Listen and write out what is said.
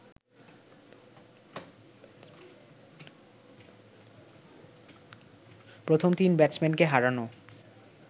প্রথম তিন ব্যাটসম্যানকে হারানো